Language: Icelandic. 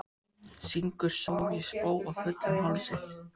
Syngur Sá ég spóa fullum hálsi.